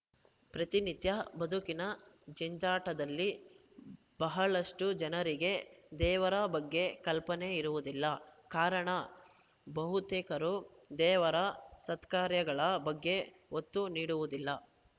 ಪ್ರತಿನಿತ್ಯ ಬದುಕಿನ ಜಂಜಾಟದಲ್ಲಿ ಬಹಳಷ್ಟುಜನರಿಗೆ ದೇವರ ಬಗ್ಗೆ ಕಲ್ಪನೆ ಇರುವುದಿಲ್ಲ ಕಾರಣ ಬಹುತೇಕರು ದೇವರ ಸತ್ಕಾರ್ಯಗಳ ಬಗ್ಗೆ ಒತ್ತು ನೀಡುವುದಿಲ್ಲ